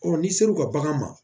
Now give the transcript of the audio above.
n'i sera u ka bagan ma